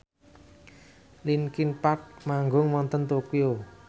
linkin park manggung wonten Tokyo